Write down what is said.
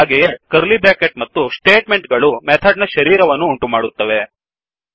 ಹಾಗೆಯೇ curly bracket ಮತ್ತು statement ಗಳು ಮೆಥಡ್ ನ ಶರೀರವನ್ನು ಉಂಟುಮಾಡುತ್ತವೆ